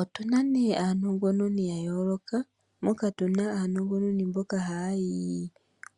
Otu na ne aanongononi ya yooloka, moka tu na aanongononi mboka haya yi